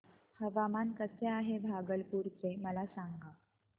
हवामान कसे आहे भागलपुर चे मला सांगा